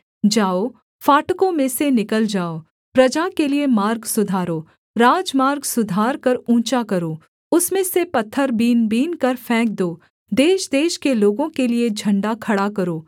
जाओ फाटकों में से निकल जाओ प्रजा के लिये मार्ग सुधारो राजमार्ग सुधारकर ऊँचा करो उसमें से पत्थर बीनबीनकर फेंक दो देशदेश के लोगों के लिये झण्डा खड़ा करो